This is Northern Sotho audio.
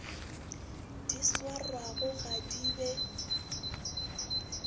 di swarwago ga di be